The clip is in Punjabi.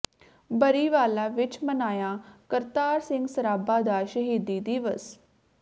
ਬਰੀਵਾਲਾ ਵਿਚ ਮਨਾਇਆ ਕਰਤਾਰ ਸਿੰਘ ਸਰਾਭਾ ਦਾ ਸ਼ਹੀਦੀ ਦਿਵਸ